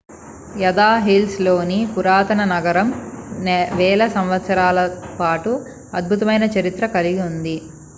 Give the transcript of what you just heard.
యూదా హిల్స్ లోని పురాతన నగరం వేల సంవత్సరాల పాటు అద్భుతమైన చరిత్ర కలిగి ఉంది